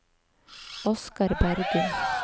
Oskar Bergum